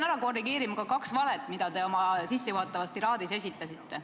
Ma pean korrigeerima kaks valet, mis te oma sissejuhatavas tiraadis esitasite.